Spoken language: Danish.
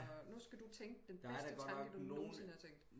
Og nu skal du tænke den bedste tanke du nogenside har tænkt